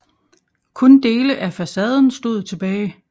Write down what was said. Kun dele af facaden stod tilbage